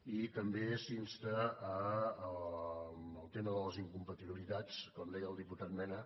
i també s’insta en el tema de les incompatibilitats com deia el diputat mena